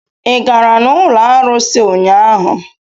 Ị gara n'ụlọ arụsị ụnyaahụ?